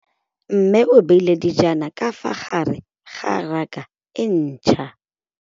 Mmê o beile dijana ka fa gare ga raka e ntšha.